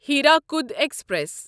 Hirakud express